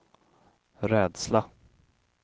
rädsla